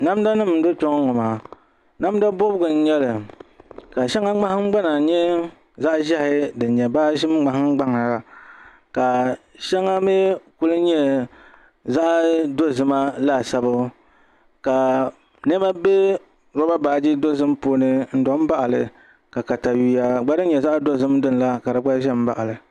Namda nim n dɔ kpɛ ŋɔ maa namda bobgu n nyɛli ka shɛŋa nahangbana nyɛ zaɣ ʒiɛhi din nyɛ baaʒim ŋmahangbaŋa ka shɛŋa mii ku nyɛ zaɣ dozima laasabu ka niɛma bɛ roba baaji puuni n do n baɣali ka katawiya din nyɛ zaɣ dozim la ka di gba ʒɛ n baɣali